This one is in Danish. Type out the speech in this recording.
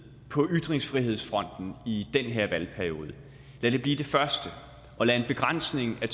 på ytringsfrihedsfronten i den her valgperiode lad den blive den første og lad en begrænsning af